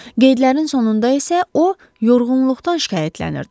Qeydlərin sonunda isə o, yorğunluqdan şikayətlənirdi.